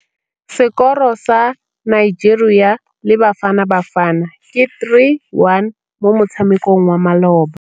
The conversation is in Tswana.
Sekôrô sa Nigeria le Bafanabafana ke 3-1 mo motshamekong wa malôba.